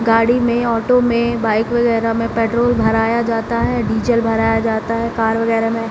गाड़ी में ऑटो में बाइक वगैरा में पेट्रोल भराया जाता है डीज़ल भराया जाता है कार वगैरा में।